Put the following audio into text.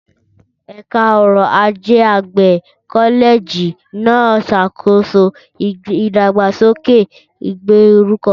Ẹ̀ka ọrọ̀ ajé àgbẹ̀ kọ́lẹ́ẹ̀jì náà ń ṣàkóso ìdàgbàsókè ìgbèríko.